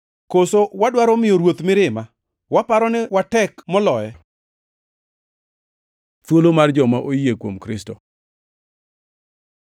Koso wadwaro miyo Ruoth mirima? Waparo ni watek moloye? Thuolo mar joma oyie kuom Kristo